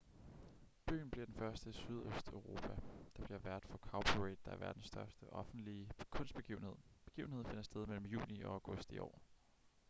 byen bliver den første i sydøsteuropa der bliver vært for cowparade der er verdens største offentlige kunstbegivenhed begivenheden finder sted mellem juni og august i år